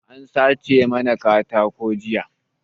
An sace mana katako jiya